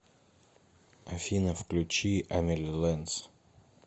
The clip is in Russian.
афина включи амели ленс